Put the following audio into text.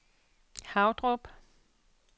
Havdrup